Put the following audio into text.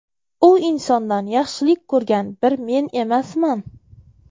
U insondan yaxshilik ko‘rgan bir men emasman.